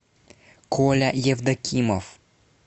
коля евдокимов